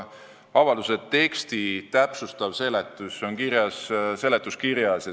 Avalduse teksti n-ö täpsustav seletus on kirjas seletuskirjas.